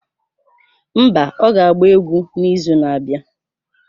Mba, ọ ga-agba egwu n'izu na-abịa.